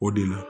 O de la